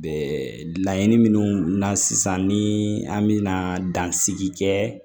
Laɲini minnu na sisan ni an mina dansigi kɛ